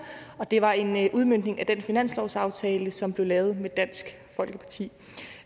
og det var en udmøntning af den finanslovsaftale som blev lavet med dansk folkeparti